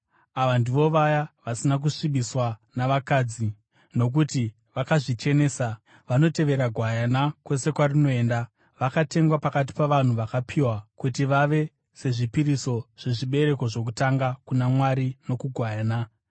Ava ndivo vaya vasina kuzvisvibisa navakadzi, nokuti vakazvichenesa. Vanotevera Gwayana kwose kwarinoenda. Vakatengwa pakati pavanhu vakapiwa kuti vave sezvipiriso zvezvibereko zvokutanga kuna Mwari nokuGwayana.